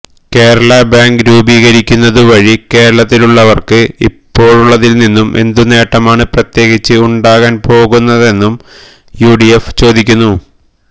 Kerala bank രൂപീകരിക്കുന്നതു വഴി കേരളത്തിലുള്ളവർക്ക് ഇപ്പോഴുള്ളതിൽ നിന്നും എന്തു നേട്ടമാണ് പ്രത്യേകിച്ച് ഉണ്ടാകാൻ പോകുന്നതെന്നും യുഡിഎഫ് ചോദിക്കുന്നു